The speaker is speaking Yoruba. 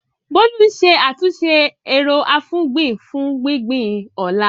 Bolu ń ṣe àtúnṣe ero-afugbin fún gbígbìn ọ̀la.